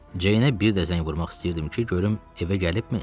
Ceynə bir də zəng vurmaq istəyirdim ki, görüm evə gəlibmi?